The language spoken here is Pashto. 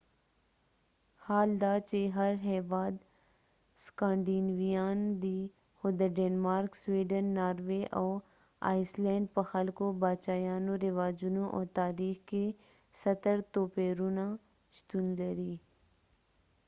حال دا چې هر هیواد سکانډینیویان دی خو د ډینمارک سویډن ناروې او آیسلینډ په خلکو باچایانو رواجونو او تاریخ کې ستر توپیرونه شتون لري